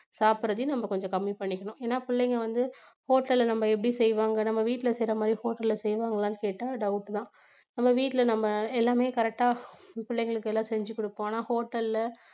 சாப்பிடறதையும் நம்ம கொஞ்சம் கம்மி பண்ணிக்கணும் ஏன்னா பிள்ளைங்க வந்து hotel ல நம்ம எப்படி செய்வாங்க நம்ம வீட்ல செய்யற மாதிரி hotel ல செய்வாங்களான்னு கேட்டா doubt தான் நம்ம வீட்ல நம்ம எல்லாமே correct ஆ பிள்ளைங்களுக்கு எல்லாம் செஞ்சி கொடுப்போம் ஆனா hotel ல